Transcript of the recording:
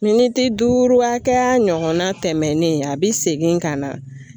Miniti duuru hakɛya ɲɔgɔnna tɛmɛnen a bi segin ka na